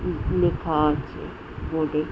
উম উ লেখা আছে বোর্ড -এ ।